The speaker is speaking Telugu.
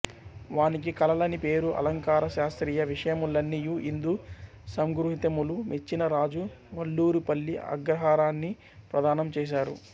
వానికి కళలని పేరు అలంకారశాశ్త్రీయ విషయములన్నియు ఇందు సంగృహీతములు మెచ్చిన రాజు వల్లూరుపల్లి అగ్రహారాన్ని ప్రదానం చేసారు